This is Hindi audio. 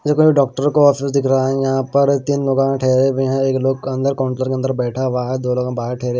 कोई डॉक्टर को ऑफिस दिख रहा है यहां पर तीन लोग ठहरे हुए हैं एक लोग अंदर काउंटर के अंदर बैठा हुआ है दोनों बाहर ठैहरे --